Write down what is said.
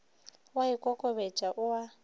o a ikokobetša o a